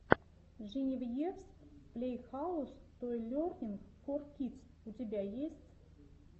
женевьевс плэйхаус той лернинг фор кидс у тебя есть